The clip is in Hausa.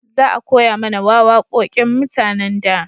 Za a koya mana wawaƙoƙin mutanen da